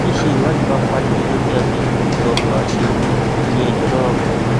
tíse ìwádìí bá parí gẹgẹ bí adéjọba ṣe wí iléẹjọ lọrọ kan